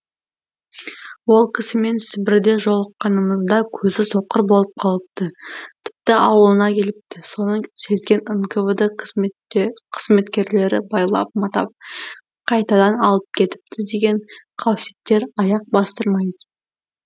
ол кісімен сібірде жолыққанымызда көзі соқыр болып қалыпты тіпті ауылына келіпті соны сезген нквд қызметкерлері байлап матап қайтадан алып кетіпті деген қауссеттер аяқ бастырмайтын